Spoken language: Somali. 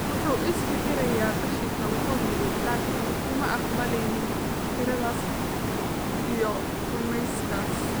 Wuxuu is-fikiriyay qashinka, wuu yidhi, laakiin kuma aqbaleynin fikradaas iyo rumayskaas.